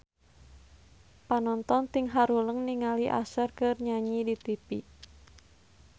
Panonton ting haruleng ningali Usher keur nyanyi di tipi